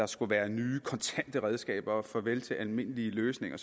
skulle være nye kontante redskaber og et farvel til almindelige løsninger